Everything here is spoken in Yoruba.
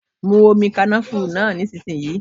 Mu omi kànáfùrú náà nísinsìnyí.